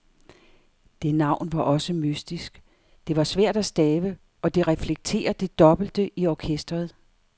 Det navn var også mystisk, det var svært at stave og det reflekterer det dobbelte i orkestret.